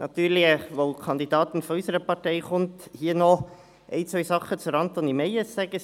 Da eine Kandidatin von unserer Partei antritt, möchte ich natürlich hier noch ein, zwei Dinge zu Antonie Meyes sagen: